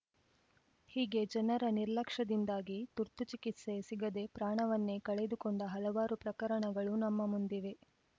ಹೀಗೆ ಜನರ ನಿರ್ಲಕ್ಷ್ಯದಿಂದಾಗಿ ತುರ್ತು ಚಿಕಿತ್ಸೆ ಸಿಗದೇ ಪ್ರಾಣವನ್ನೇ ಕಳೆದುಕೊಂಡ ಹಲವಾರು ಪ್ರಕರಣಗಳು ನಮ್ಮ ಮುಂದಿವೆ